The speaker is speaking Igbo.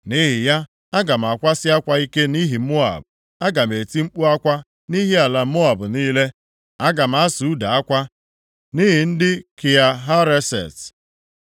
Nʼihi ya, aga m akwasị akwa ike nʼihi Moab, aga m eti mkpu akwa nʼihi ala Moab niile. Aga m asụ ude akwa nʼihi ndị Kia Hareset.